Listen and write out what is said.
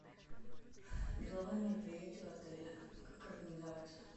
деловые мероприятия в отеле как организовать